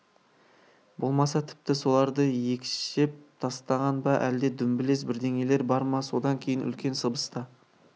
болмаса тіпті соларды екшеп тастаған ба әлде дүмбілез бірдеңелер бар ма содан кейін үлкен сыбыс та